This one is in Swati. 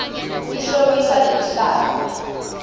tihlobisa nemhlaba